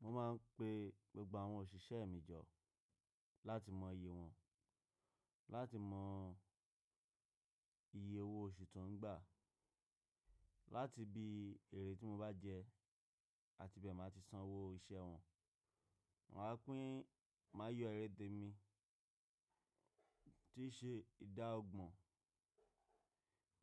Mo máa ń pe gbogbo àwọn òṣìṣẹ́ mi jọ láti mọ iye wọn, láti mọ iye owó oṣù tó ń gbà, láti bí èrè tí mo bá jẹ àti bẹ́ẹ̀ máa ti san owó iṣẹ́ wọn. Maa pín máa yọ eré tèmi tí í ṣe ìdá ọgbọ̀n.